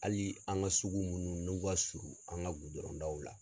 Hali an ka sugu minnu n'u ka surun an ka gudɔrɔndaw la.